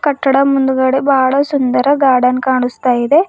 ಕಟ್ಟಡ ಮುಂದುಗಡೆ ಬಾಳ ಸುಂದರ ಗಾರ್ಡನ್ ಕಾಣಿಸ್ತಾ ಇದೆ.